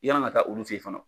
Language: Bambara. I kana na taa olu fɛ yen fana.